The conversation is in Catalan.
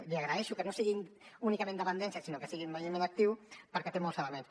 li agraeixo que no sigui únicament dependència sinó que sigui envelliment actiu perquè té molts elements